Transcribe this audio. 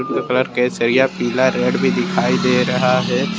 ये कलर केसरिया पीला रेड भी दिखाई दे रहा है।